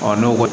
n'o ko